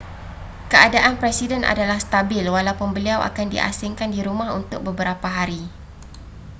keadaan presiden adalah stabil walaupun beliau akan di asingkan di rumah untuk beberapa hari